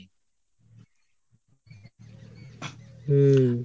হম